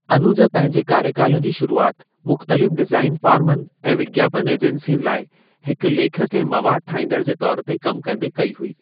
अनुज पंहिंजे कार्य काल जी शुरूआत मुख़तलिफ़ डिजाइन फर्मुनि ऐं विज्ञापन एजेंसियुनि लाइ हिकु लेखक ऐं मवाद ठाहिंदड़ु जे तौर ते कम कंदे कई हुई।